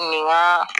Nin ka